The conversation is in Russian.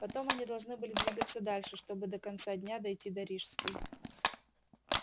потом они должны были двигаться дальше чтобы до конца дня дойти до рижской